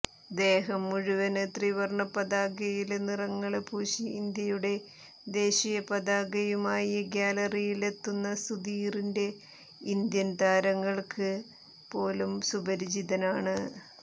ദേഹം മുഴുവന് ത്രിവര്ണ പതാകയിലെ നിറങ്ങള് പൂശി ഇന്ത്യയുടെ ദേശീയ പതാകയുമായി ഗ്യാലറിയിലെത്തുന്ന സുധീറിന്റെ ഇന്ത്യന് താരങ്ങള്ക്ക് പോലും സുപരിചിതനാണ്